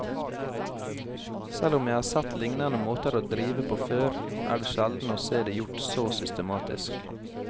Selv om jeg har sett lignende måter å drive på før, er det sjelden å se det gjort så systematisk.